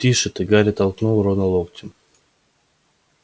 тише ты гарри толкнул рона локтем